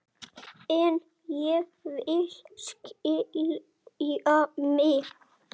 En ég vil skilja mig.